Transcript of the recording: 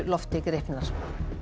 lofti gripnar